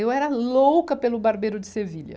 Eu era louca pelo Barbeiro de Sevilha.